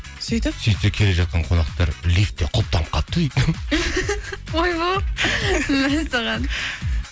сөйтіп сөйтсе келе жатқан қонақтар лифтте құлыптанып қалыпты дейді ойбой мәссаған